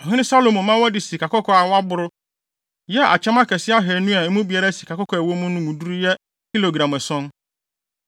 Ɔhene Salomo ma wɔde sikakɔkɔɔ a wɔaboro yɛɛ akyɛm akɛse ahannu a emu biara sikakɔkɔɔ a ɛwɔ mu no mu duru yɛ kilogram ason.